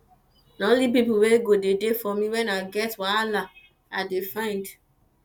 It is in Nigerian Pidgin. na only pipu wey go dey for me wen i get wahala i dey find